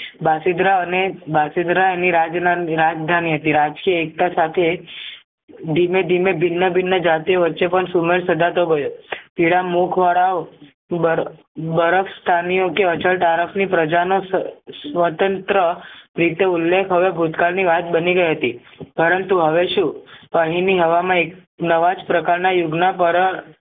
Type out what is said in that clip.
બરફ સાની ઓકે અજત આર્કસની પ્રજાના સ્વ સ્વતંત્ર બીટુ ઉલ્લેખ હવે ભૂતકાળની વાત બની ગઈ હતી પરંતુ હવે શું અહીંની હવા મય નવાજ પ્રકારના યુગના પર